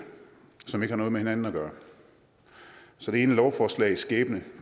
som ikke har noget med hinanden at gøre så det ene lovforslags skæbne